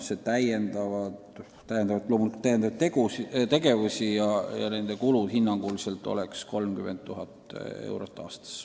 See tähendab loomulikult lisategevusi ja nende kulu oleks hinnanguliselt 30 000 eurot aastas.